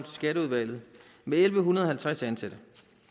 skatteudvalget elleve halvtreds ansatte